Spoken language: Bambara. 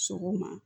Sɔgɔma